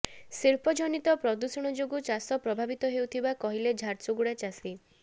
ଶିଳ୍ପ ଜନିତ ପ୍ରଦୂଷଣ ଯୋଗୁଁ ଚାଷ ପ୍ରଭାବିତ ହେଉଥିବା କହିଲେ ଝାରସୁଗୁଡା ଚାଷୀ